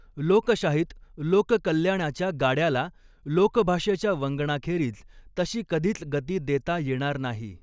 लोकशाहीत लोककल्याणाच्या गाड्याला लोकभाषेच्या वंगणाखेरीज तशी कधीच गती देता येणार नाही.